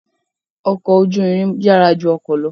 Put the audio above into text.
Ọkọ̀ ojú irin yàrá ju ọkọ̀ lọ